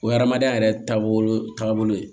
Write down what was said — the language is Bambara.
O ye adamadenya yɛrɛ taabolo ye taabolo ye